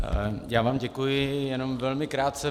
Já vám děkuji, jenom velmi krátce.